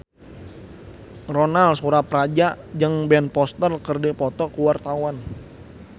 Ronal Surapradja jeung Ben Foster keur dipoto ku wartawan